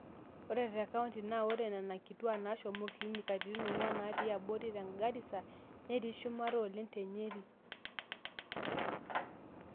ore tecounty naa ore nena kitwaak naashomo clinic katitin ong'wan netii abori te garisa netii shumata oleng te nyeri